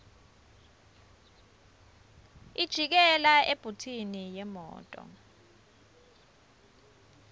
ijikela ebhuthini yemoto